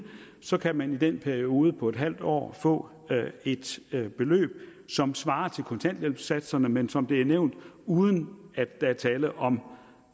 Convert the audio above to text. så kan man i den periode på en halv år få et beløb som svarer til kontanthjælpssatserne men som det er nævnt uden at der er tale om